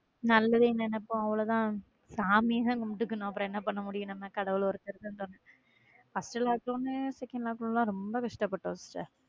நல்லதே நினைப்போம் அவ்ளோதான் சாமி தான் கும்பிட்டுக்கொள்ளனும் அப்புறம் என்ன பண்ண முடியும் கடவுள் ஒருத்தர் தான் தோண first lockdown second lockdown ரொம்ப கஷ்டப்பட்டோம்.